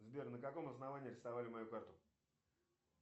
сбер на каком основании арестовали мою карту